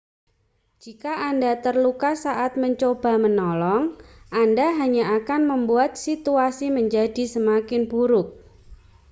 jika anda terluka saat mencoba menolong anda hanya akan membuat situasi menjadi semakin buruk